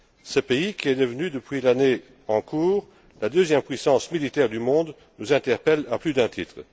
Ce pays, qui est devenu, depuis l'année en cours, la deuxième puissance militaire du monde, nous interpelle à plus d'un titre.